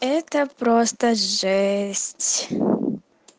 это просто жесть